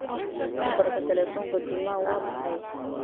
nambarka telefonka juma waa maxay